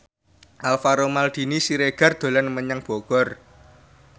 Alvaro Maldini Siregar dolan menyang Bogor